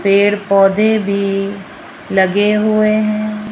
पेड़ पौधे भी लगे हुए है।